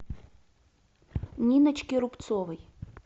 ниночке рубцовой